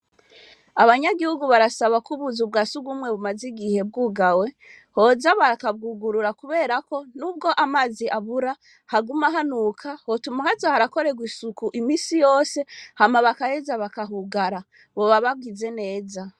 Abanyagihugu barasaba ko ubuzu bwa surwumwe bumaze igihe bwugawe, boza bakabwugurura kubera ko n'ubwo amazi abura, haguma hanuka. Hotuma hoza harakorwa isuku misi yose hama bagaheza bakahugara. Boba bagize neza.